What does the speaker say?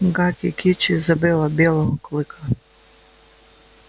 гаки кичи забыла белого клыка